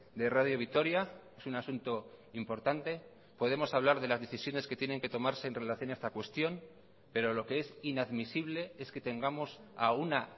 de radio vitoria es un asunto importante podemos hablar de las decisiones que tienen que tomarse en relación a esta cuestión pero lo que es inadmisible es que tengamos a una